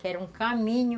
Que era um caminho.